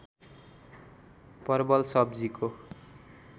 परबल सब्जीको